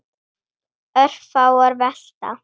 Örfáar velta.